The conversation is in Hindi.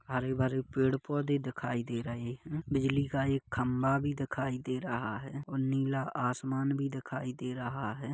आजू बाजू पेड़ पौधे दिखाई दे रहे हैं बिजली का एक खंबा भी दिखाई दे रहा है और नीला आसमान भी दिखाई दे रहा है।